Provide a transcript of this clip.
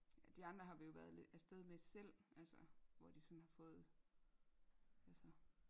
De andre har vi jo være afsted med selv altså hvor de sådan har fået altså